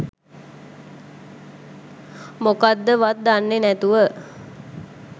මොකද්දවත් දන්නේ නැතුව